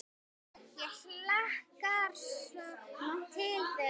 Ég hlakkar svo til þegar.